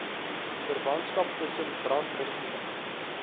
verwantskap tussen brandregime